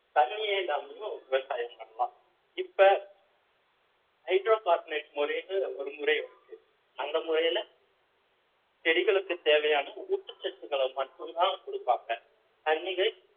தண்ணியே இல்லாமையும் விவசாயம் பண்ணலாம் இப்ப hydrocarbonate முறைன்னு ஒரு முறை இருக்கு அந்த முறையில செடிகளுக்கு தேவையான ஊட்டச்சத்துக்கள மட்டும் தான் குடுப்பாங்க தண்ணிகள்